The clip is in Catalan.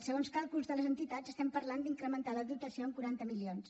segons càlculs de les entitats estem parlant d’incrementar la dotació en quaranta milions